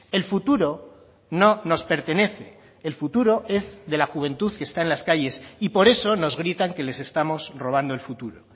el futuro no nos pertenece el futuro es de la juventud que está en las calles y por eso nos gritan que les estamos robando el futuro